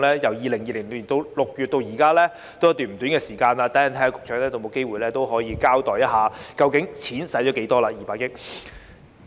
由2020年6月至今已過了一段不短的時間，稍後局長會否交代究竟該200億元已花了多少呢？